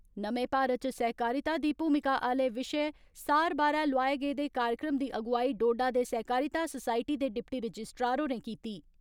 नमें भारत इच सहकारिता दी भूमिका आले विषय सार बारै लोआए गेदे कार्यक्रम दी अगुवाई डोडा दे सहकारिता सोसायटी दे डिप्टी रजिस्ट्रार होरें कीती।